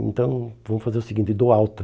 Então, vamos fazer o seguinte, dou alta.